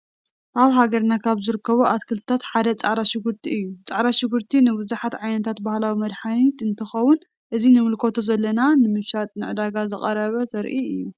አብ ሃገርና ካብ ዝርከቡ አትክልቲታት ሓደ ፃዕዳ ሽጉርቲ እዩ ።ፃዕዳ ሽጉርቲ ንብዛሓት ዓይነታት ባህላዊ መድሓኒት አንትክው አዚ ንምልከቶ ዘለና ንመሽጣ ንዕዳጋ ዝቀረበ ዘርኢ እዩ ።